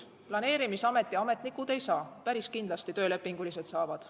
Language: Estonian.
Ametnikud ei saa, töölepingulised saavad.